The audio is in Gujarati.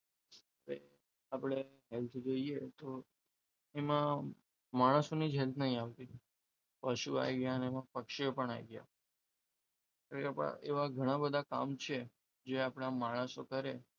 આપણે health જોઈએ તો એના માણસોની health ની નથી આવતી પશુ આવી ગયા પક્ષીઓ પણ આવી ગયા ઘણીવાર ઘણા બધા એવા કામ છે જે આપણા માણસો કરે